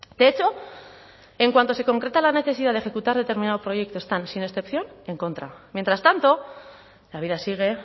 de hecho en cuanto se concreta la necesidad de ejecutar determinados proyectos están sin excepción en contra mientras tanto la vida sigue